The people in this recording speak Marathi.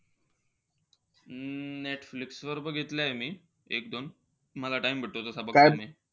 अं नेटफ्लिक्स वर बघितलंय मी एक-दोन. मला time भेटतो तसं बघतो मी.